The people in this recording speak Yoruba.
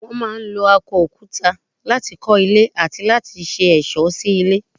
Wọ́n máa ń lo akọ òkúta láti kọ́ ilé àti láti ṣe ẹ̀ṣọ́ sí ilé.